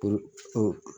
O